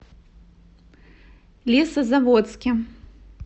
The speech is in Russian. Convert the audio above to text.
лесозаводске